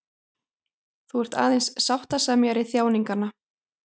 Þú ert aðeins sáttasemjari þjáninganna.